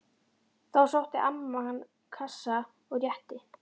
Þá sótti amman kassa og rétti